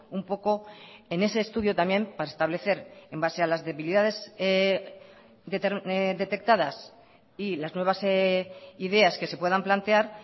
un poco en ese estudio también para establecer en base a las debilidades detectadas y las nuevas ideas que se puedan plantear